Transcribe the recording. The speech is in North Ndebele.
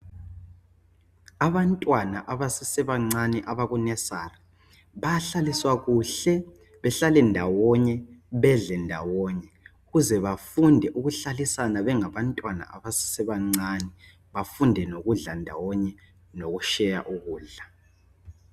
Abantwana abasesebancane abakunesari bayahlaliswa kuhle bahlale ndawonye bedle ndawonye ukuze bafunde ukuhlalisana bengabantwana abasesebancane, bafunde lokudla ndawonye lokusheya ukudla.